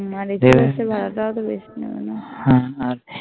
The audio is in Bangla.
তোমার AC Bus ভাড়াটাও তো বেশি হ্যাঁ